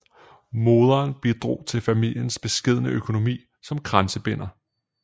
Moderen bidrog til familiens beskedne økonomi som kransebinder